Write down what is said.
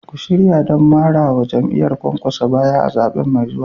Ku shirya don marawa jam'iyyar Kwankwaso baya a zaɓe mai zuwa.